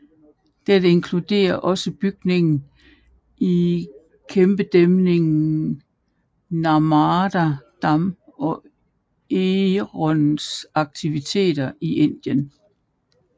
Dette inkluderer også bygningen af kæmpedæmningen Narmada Dam og Enrons aktiviteter i Indien